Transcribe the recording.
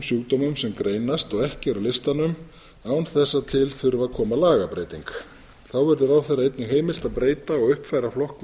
sjúkdómum sem greinast og ekki eru á listanum án þess að til þurfi að koma lagabreyting þá verður ráðherra einnig heimilt að breyta og uppfæra flokkun